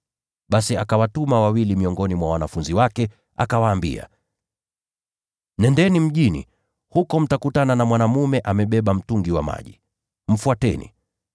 Basi akawatuma wawili miongoni mwa wanafunzi wake, akawaambia, “Nendeni mjini. Huko mtakutana na mwanaume amebeba mtungi wa maji. Mfuateni.